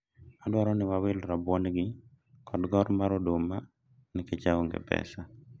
adwaro ni wawil rabuon gi kod gor mar oduma nikech aonge pesa